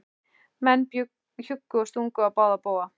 Menn hjuggu og stungu á báða bóga.